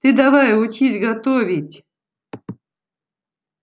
ты давай учись готовить